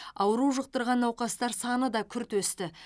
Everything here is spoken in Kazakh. ауру жұқтырған науқастар саны да күрт өсті